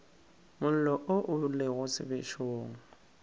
mollo wo o lego sebešong